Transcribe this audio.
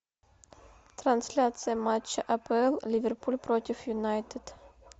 трансляция матча апл ливерпуль против юнайтед